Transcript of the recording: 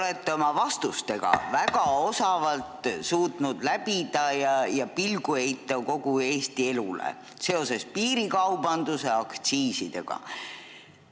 Te olete oma vastustega väga osavalt suutnud heita pilgu kogu Eesti elule seoses piirikaubanduse ja aktsiisidega.